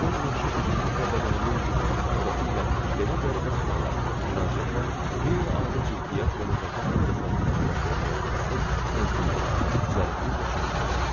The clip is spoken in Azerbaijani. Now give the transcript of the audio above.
Madmazel Blanşe üzünün və bədəninin bütün ifadəsi ilə belə qəribə suala, müraciətə qeyri-adi ciddiyət və nəzakət pərdəsi altında cavab verməyə tələsib, təntənə ilə, zərifliklə çönbəldi.